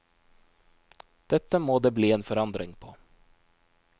Dette må det bli en forandring på.